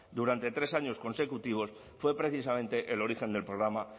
durante tres años consecutivos fue precisamente el origen del programa